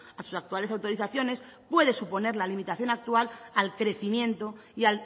a sus actuales autorizaciones puede suponer la limitación actual al crecimiento y